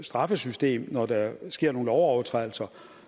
straffesystem når der sker nogle lovovertrædelser